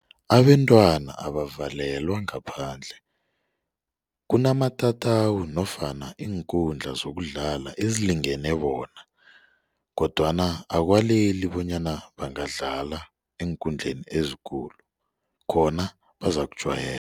Abentwana abavalelwa ngaphandle kunamatatawu nofana iinkundla zokudlala ezilingene bona kodwana akwaleli bonyana bangadlala eenkundleni ezikulu khona bazakujwayela.